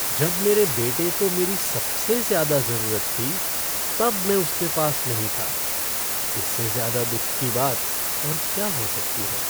जब मेरे बेटे को मेरी सबसे ज्यादा जरूरत थी, तब मैं उसके पास नहीं था। इससे ज़्यादा दुख की बात और क्या हो सकती है।